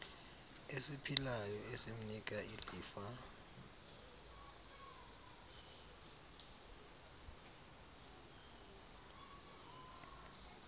esiphilayo esimnika ilifa